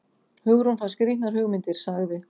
Hugrún fær skrýtnar hugmyndir- sagði